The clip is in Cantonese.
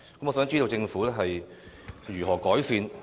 我想知道政府會如何改善？